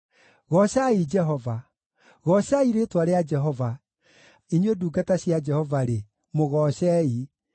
Goocai Jehova. Goocai rĩĩtwa rĩa Jehova; inyuĩ ndungata cia Jehova-rĩ, mũgoocei,